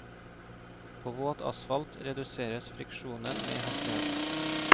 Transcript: På våt asfalt reduseres friksjonen med hastigheten.